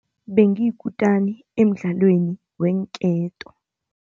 Bengiyikutani emdlalweni weenketo.